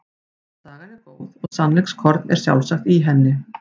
Sagan er góð og sannleikskorn er sjálfsagt í henni.